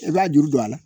I b'a juru don a la